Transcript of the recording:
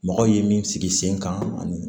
Mɔgɔw ye min sigi sen kan ani